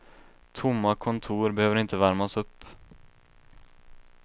Tomma kontor behöver inte värmas upp.